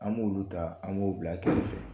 An k'olu ta an b'u bila kɛrɛ